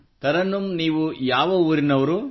ತರನ್ನುಮ್ ನೀವು ಯಾವ ಊರಿನವರು